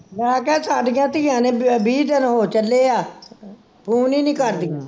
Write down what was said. ਮੈਂ ਕਿਹਾ ਸਾਡੀਆਂ ਧੀਆਂ ਨੇ ਵਹ ਵੀਹ ਦਿਨ ਹੋ ਚਲ ਐ ਫੋਨ ਈ ਨੀ ਕਰਦੀਆਂ